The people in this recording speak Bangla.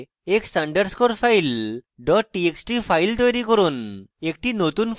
কিছু বিষয়বস্তুর সাথে x underscore file dot txt file তৈরী করুন